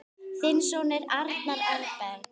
Þinn sonur, Arnar Eyberg.